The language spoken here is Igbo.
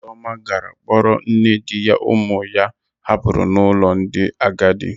Ụzọma gara kpọrọ nne di ya ụmụ ya hapụrụ n'ụlọ ndị agadi.